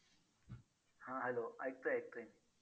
हां hello ऐकतोय ऐकतोय.